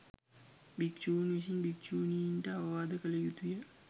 භික්‍ෂූන් විසින් භික්‍ෂූණීන්ට අවවාද කළ යුතු ය.